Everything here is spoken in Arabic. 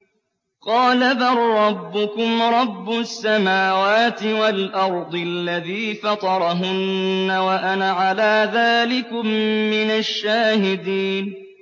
قَالَ بَل رَّبُّكُمْ رَبُّ السَّمَاوَاتِ وَالْأَرْضِ الَّذِي فَطَرَهُنَّ وَأَنَا عَلَىٰ ذَٰلِكُم مِّنَ الشَّاهِدِينَ